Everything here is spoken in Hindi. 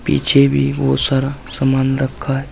पीछे भी बहुत सारा सामान रखा है।